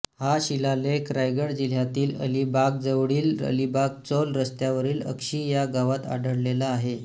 हा शिलालेख रायगड जिल्ह्यातील अलिबागजवळील अलिबागचौल रस्त्यावरील अक्षी या गावात आढळलेला आहे